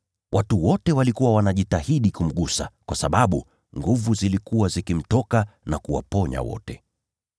Watu wote walikuwa wanajitahidi kumgusa kwa sababu nguvu zilikuwa zikimtoka na kuwaponya wote.